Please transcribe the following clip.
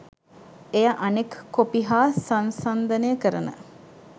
එය අනෙක් කොපි හා සංසන්දනය කරන